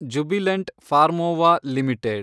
Jubilant Pharmova limited